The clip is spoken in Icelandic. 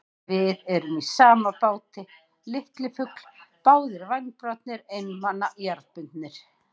Við erum í sama báti, litli fugl, báðir vængbrotnir, einmana, jarðbundnir.